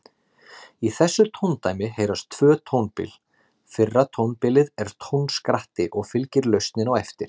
Í þessu tóndæmi heyrast tvö tónbil, fyrra tónbilið er tónskratti og fylgir lausnin á eftir.